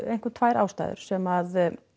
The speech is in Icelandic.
einkum tvær ástæður sem